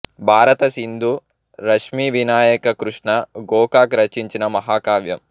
భారత సింధు రశ్మివినాయక కృష్ణ గోకాక్ రచించిన మహా కావ్యం